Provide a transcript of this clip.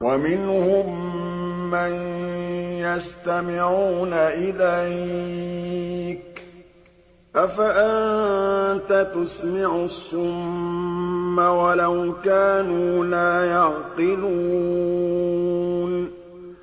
وَمِنْهُم مَّن يَسْتَمِعُونَ إِلَيْكَ ۚ أَفَأَنتَ تُسْمِعُ الصُّمَّ وَلَوْ كَانُوا لَا يَعْقِلُونَ